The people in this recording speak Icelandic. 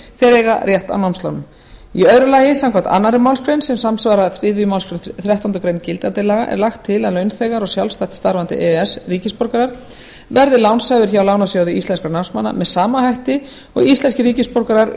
eiga rétt á námslánum annars samkvæmt annarri málsgrein sem samsvarar þriðju málsgrein þrettándu greinar gildandi laga er lagt til að launþegar og sjálfstætt starfandi e e s ríkisborgarar verði lánshæfir hjá lánasjóði íslenskra námsmanna með sama hætti og íslenskir ríkisborgarar